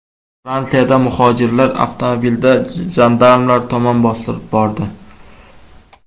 Fransiyada muhojirlar avtomobilda jandarmlar tomon bostirib bordi.